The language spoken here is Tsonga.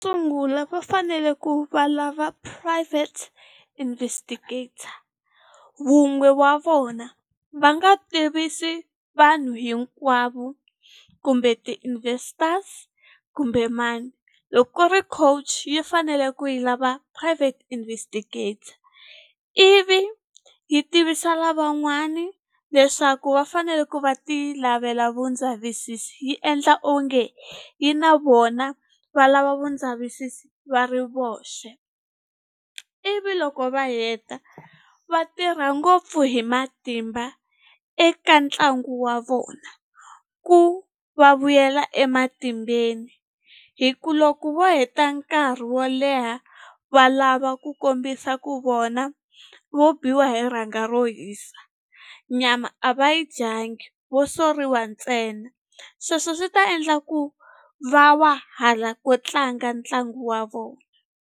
Sungula va fanele ku valava private investigator vun'we wa vona va nga tivisi vanhu hinkwavo kumbe ti-investors kumbe mani loko ku ri coach yi fanele ku yi lava private investigator ivi yi tivisa lavan'wani leswaku va fanele ku va ti lavela vu ndzavisisi yi endla onge yi na vona va lava vu ndzavisisi va ri voxe ivi loko va heta va tirha ngopfu hi matimba eka ntlangu wa vona ku va vuyela ematimbeni hi ku loko wo heta nkarhi wo leha va lava ku kombisa ku vona vo biwa hi rhanga ro hisa nyama a va yi dyangi vo soriwa ntsena sweswo swi ta endla ku va wa hala ko tlanga ntlangu wa vona.